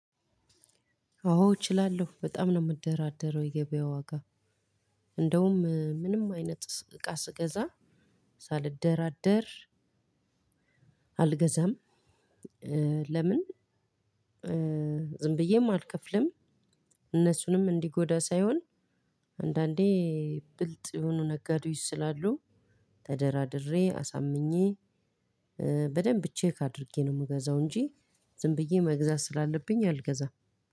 አዎ እችላለሁ በጣም ነው የምደራደረው የገበያ ዋጋ እንደውም ምንም አይነት እቃ ስገዛ ሳልደራደር አልገዛም። ለምን ዝም ብዬም አልከፍልም እነሱንም እንዲጎዳ ሳይሆን አንዳንዴ ብልጥ የሆኑ ነጋዴዎች ስላሉ ተደራድሬ አሳምኜ በደንብ ቼክ አድርጌ ነው ምገዛው እንጂ ዝም ብዬ መግዛት ስላለብኝ አልገዛም።